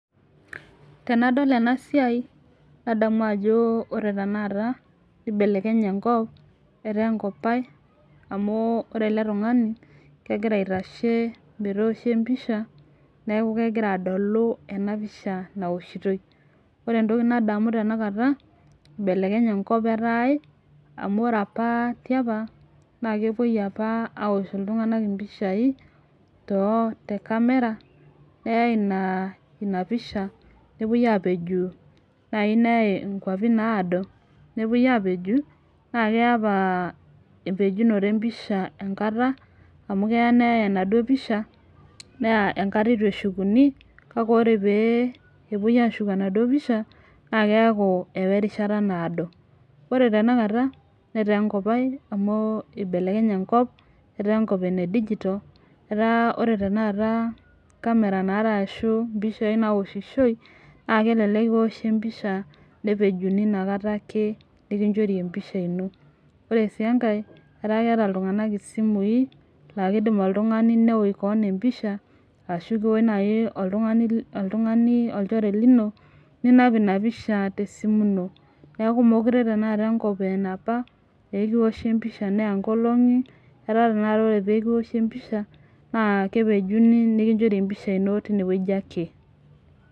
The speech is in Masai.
Tenadol ena siai nadmu ajo ore tenakata nibelekenya enkop etaa enkop ae, amu ore ele tungani, kegira aitashe metooshi empisha, neeku kegira adolu ena pisha naoshitoi. neeku ore entoki nagira adamu tenakata. ibelekenye enkop etaa ae.amh ore apa tiapa kepuoi apa aosh iltunganak impishai too te camera naa Ina pisha, nepuoi aapeju neyae inkuapi naado. nepuoi aapeju naa keya apa empejunoto empisha enkata. amu keya neyae enaduo pisha. Neyae enkata eitu shukuni. kake ore pee epuoi aashuk enaduoo pisha. naa keeku ewa erishata naado. ore tenakata metaa enkop ae.amu ibelekenye enkop. etaa enkop ene digital etaa tenakata ore camera naata ashu mpishai naaoshishoi. naa kelelek enoshi empisha nepejuni inakata ake, nikichori empisha ino. ore sii enkae etaa keeta iltunganak isimui naa kidim oltungani neosh keon empisha. ashu kiosh naaji oltungani olchore lino. ninap Ina pisha te simu ino. neeku meekure tenakata enkop aa enapa aa ekioshi empisha neya nkolong'i. etaa tenakata ore pee kiroshi empisha naa kepejunu mikinchori empisha ino teine wueji ake.